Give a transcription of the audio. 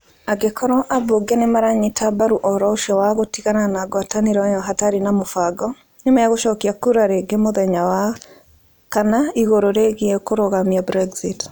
Angĩkorwo ambunge nĩ maranyita mbaru ũhoro wa gũtigana na ngwatanĩro ĩyo hatarĩ na mũbango, nĩ megũcokia kura rĩngĩ mũthenya wa Wakana igũrũ rĩgiĩ kũrũgamia Brexit.